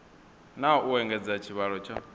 na u engedza tshivhalo tsha